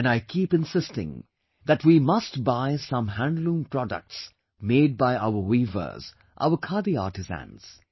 And I keep insisting that we must buy some handloom products made by our weavers, our khadi artisans